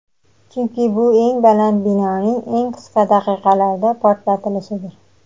chunki bu eng baland binoning eng qisqa daqiqalarda portlatilishidir.